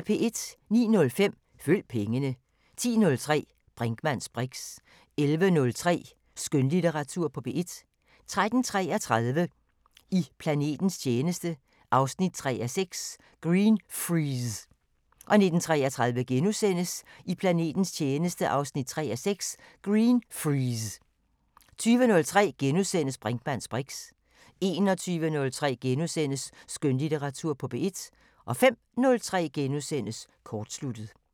09:05: Følg pengene 10:03: Brinkmanns briks 11:03: Skønlitteratur på P1 13:33: I planetens tjeneste 3:6 – Greenfreeze 19:33: I planetens tjeneste 3:6 – Greenfreeze * 20:03: Brinkmanns briks * 21:03: Skønlitteratur på P1 * 05:03: Kortsluttet *